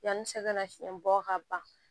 Yanni sɛgɛnnafiɲɛ bɔ ka ban